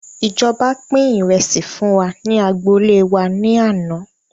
Ìjọba pin ìrẹsì fún wa ní agboolé wá ní àná